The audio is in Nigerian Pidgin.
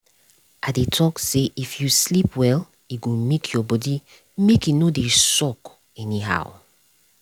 i dey talk say if you sleep well e go make your body make e no dey sock anyhow